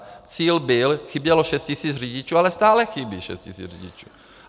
Cíl byl, chybělo šest tisíc řidičů, ale stále chybí šest tisíc řidičů.